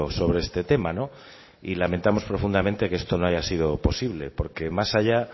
sobre este tema no y lamentamos profundamente que esto no haya sido posible porque más allá